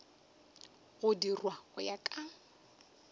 go dirwa go ya ka